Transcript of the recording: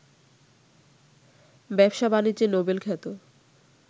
ব্যবসা-বাণিজ্যে Nobel খ্যাত